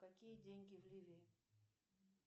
какие деньги в ливии